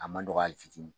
A man nɔgɔ hali fitini